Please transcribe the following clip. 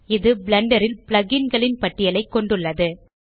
இது பிளெண்டர் ல் plug இன் களின் பட்டியலைக் கொண்டுள்ளது